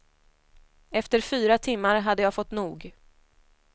Efter fyra timmar hade jag fått nog.